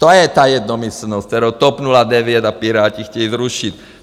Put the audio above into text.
To je ta jednomyslnost, kterou TOP 09 a Piráti chtějí zrušit.